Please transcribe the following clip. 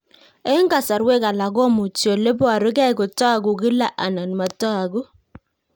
Eng'kasarwek alak komuchi ole parukei kotag'u kila anan matag'u